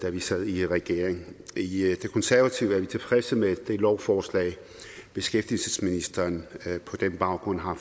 da vi sad i regering i konservative er vi tilfredse med det lovforslag beskæftigelsesministeren på den baggrund har